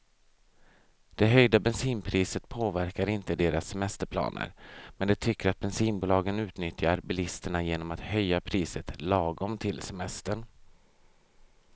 Det höjda bensinpriset påverkar inte deras semesterplaner, men de tycker att bensinbolagen utnyttjar bilisterna genom att höja priset lagom till semestern.